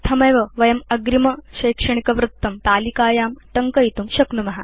इत्थमेव वयम् अग्रिमशैक्षणिकवृत्तं तलिकायां टङ्कयितुं शक्नुम